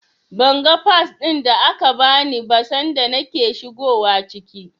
Ban ga Fas ɗin da aka bani ba sanda nake shigowa ciki.